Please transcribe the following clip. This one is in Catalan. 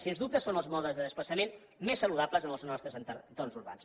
sens dubte són els modes de desplaçament més saludables en els nostres entorns urbans